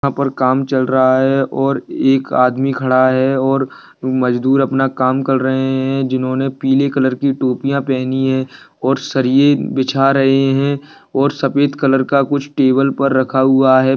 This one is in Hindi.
यहाँ पर काम चल रहा है और एक आदमी खड़ा है और मजदूर अपना काम कर रहे हैं जिन्होंने पील कलर की टोपियाँ पेहनी हैं और सरिए बिछा रहे हैं और सफ़ेद कलर का कुछ टेबल पर रखा हुआ हैं।